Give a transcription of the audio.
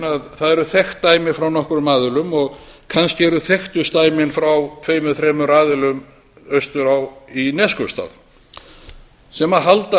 að það eru þekkt dæmi frá nokkrum aðilum og kannski eru þekktust dæmin frá tveimur þremur aðilum austur í neskaupstað sem halda